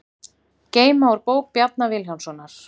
Geyma úr bók Bjarna Vilhjálmssonar